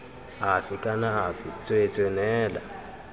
afe kana afe tsweetswee neela